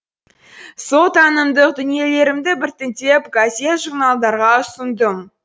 сол танымдық дүниелерімді біртіндеп газет журналдарға ұсындым